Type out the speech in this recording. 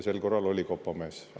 Sel korral oli kopamees.